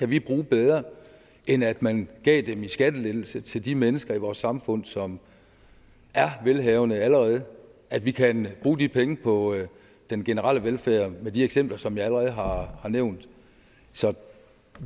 de penge bedre end at man gav dem i skattelettelse til de mennesker i vores samfund som er velhavende allerede at vi kan bruge de penge på den generelle velfærd med de eksempler som jeg allerede har har nævnt så